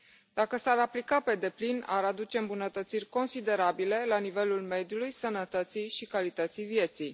Dacă s ar aplica pe deplin, ar aduce îmbunătățiri considerabile la nivelul mediului, sănătății și calității vieții.